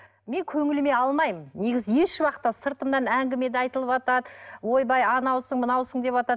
мен көңіліме алмаймын негізі ешуақытта сыртымнан әңіме де айтылыватат ойбай анаусың мынаусың деватат